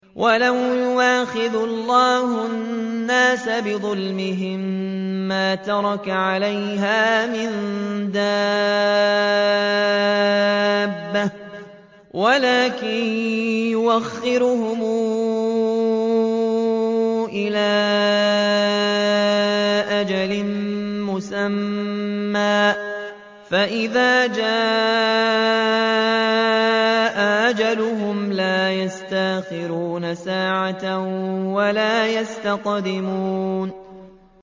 وَلَوْ يُؤَاخِذُ اللَّهُ النَّاسَ بِظُلْمِهِم مَّا تَرَكَ عَلَيْهَا مِن دَابَّةٍ وَلَٰكِن يُؤَخِّرُهُمْ إِلَىٰ أَجَلٍ مُّسَمًّى ۖ فَإِذَا جَاءَ أَجَلُهُمْ لَا يَسْتَأْخِرُونَ سَاعَةً ۖ وَلَا يَسْتَقْدِمُونَ